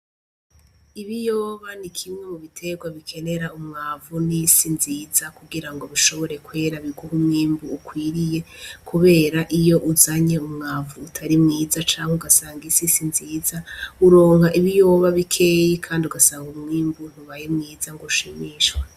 Ibiyoba ni kimwe mu bitegwa bikenera umwavu n'isi nziza kugira ngo bishobore kwera biguhe umwimbu ukwiriye, kubera iyo uzanye umwavu utari mwiza canke ugasanga isi si nziza uronka ibiyoba bikeyi kandi ugasanga umwimbu ntubaye mwiza ngo ushimishwa.